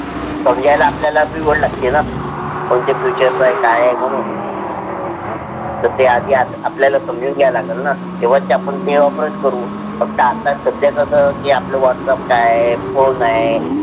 समजला आपला भी कैंची Featuress अहे काहे काय आहे मणून. ते आधी आपल्याला समजून ज्या लग्न न तेव्हा आपण ते operate करू फक्त आता सध्या कस की आपला whats app काहे, फोन आहे.